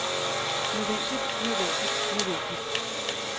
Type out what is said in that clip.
nødvendigt nødvendigt nødvendigt